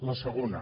la segona